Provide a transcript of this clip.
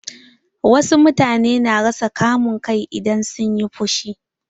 Wasu mutane na rasa kama kai idan sun yi fushi.